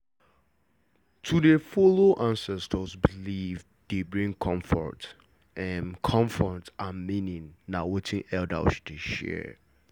to dey follow ancestors beliefs dey bring comfort and meaning na wetin elders dey share